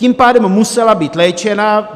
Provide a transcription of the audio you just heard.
Tím pádem musela být léčena.